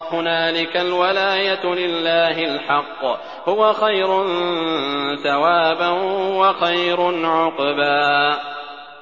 هُنَالِكَ الْوَلَايَةُ لِلَّهِ الْحَقِّ ۚ هُوَ خَيْرٌ ثَوَابًا وَخَيْرٌ عُقْبًا